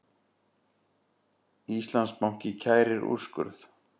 Íslandsbanki kærir úrskurð